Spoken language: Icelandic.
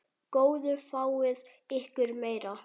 Góðu fáið ykkur meira.